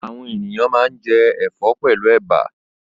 Àwọn ènìyàn máa ń jẹ ẹ̀fọ́ pẹ̀lú ẹ̀bà.